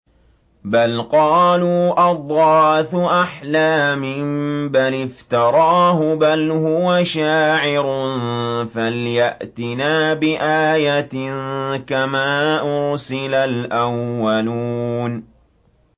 بَلْ قَالُوا أَضْغَاثُ أَحْلَامٍ بَلِ افْتَرَاهُ بَلْ هُوَ شَاعِرٌ فَلْيَأْتِنَا بِآيَةٍ كَمَا أُرْسِلَ الْأَوَّلُونَ